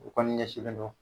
O kɔni ɲɛsinlen don